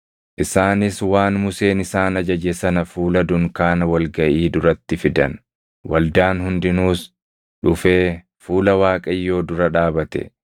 Isaanis waan Museen isaan ajaje sana fuula dunkaana wal gaʼii duratti fidan; waldaan hundinuus dhufee fuula Waaqayyoo dura dhaabate.